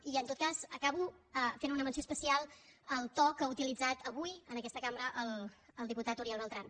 i en tot cas acabo fent una menció especial del to que ha utilitzat avui en aquesta cambra el diputat uriel bertran